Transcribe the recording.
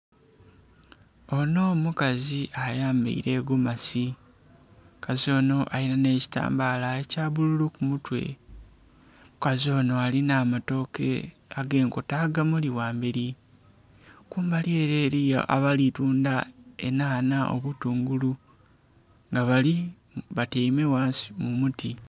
Onho mukazi ayambaile gomasi, omukazi onho alinha ekitambaala ekya bbululu ku mutwe. Omukazi onho alinha amatooke ag'enkota agamuli ghambeli. Kumbali ele eliyo abali tundha enhanha, obutungulu nga bali, batyaime ghansi mu muti.